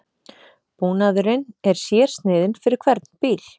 Búnaðurinn er sérsniðinn fyrir hvern bíl